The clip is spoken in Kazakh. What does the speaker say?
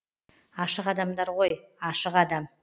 ашық адамдар ғой ашық адам